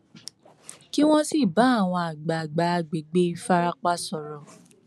kí wọn sì bá àwọn àgbààgbà àgbègbè ìfarapa sọrọ